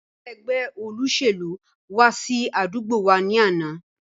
Àwọn Ẹgbẹ́ olóṣèlú wá sí àdúgbò wá ní àná